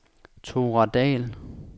Thora Dall